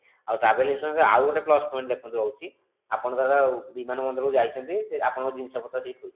ଆଉ travel insurance ରେ ଆଉ ଗୋଟେ plus point ଦେଖନ୍ତୁ ରହୁଛି ଆପଣ ଧର ବିମାନ ବନ୍ଦରକୁ ଯାଇଛନ୍ତି ଆପଣଙ୍କ ଜିନିଷ ପତ୍ର ସେଇଠି ଥୋଇଛନ୍ତି।